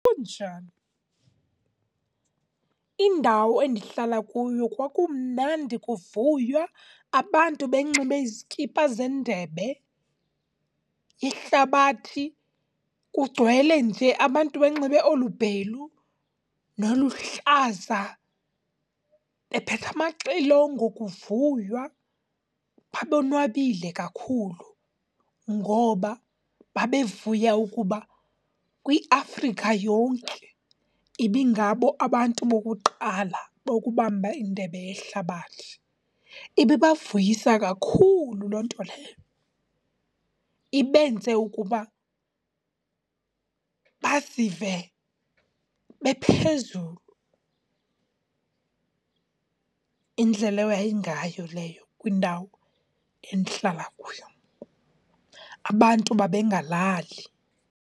Kunjani, indawo endihlala kuyo kwakumnandi kuvuywa abantu benxibe izikipa zendebe, ihlabathi kugcwele nje abantu benxibe olubhelu noluhlaza, bephethe amaxilongo, kuvuywa babonwabile kakhulu. Ngoba babevuya ukuba kwiAfrika yonke ibingabo abantu bokuqala bokubamba iNdebe yeHlabathi. Ibibavuyisa kakhulu loo nto leyo, ibenze ukuba bazive bephezulu. Indlela eyayingayo leyo kwindawo endihlala kuyo, abantu babengalali.